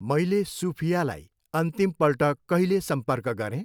मैले सुफियालाई अन्तिमपल्ट कहिले सम्पर्क गरेँ?